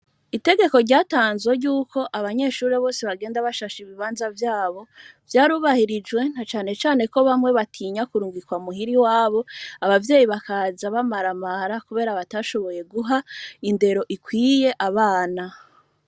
Itegeko ryatanzwe ry'uko abanyeshure bose bagenda bashashe ibibanza vyabo, vyarubahirijwe na cane cane ko bamwe batinya kurungikwa muhira iwabo abavyeyi bakaza bamaramara kubera batashoboye guha indero ikwiye abana.